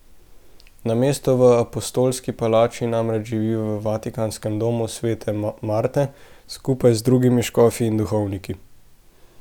Namesto v apostolski palači namreč živi v vatikanskem Domu svete Marte skupaj z drugimi škofi in duhovniki.